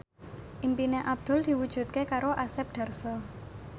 impine Abdul diwujudke karo Asep Darso